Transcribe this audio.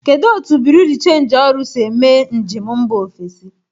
Kedu otu bureau de change ọrụ si eme njem mba ofesi?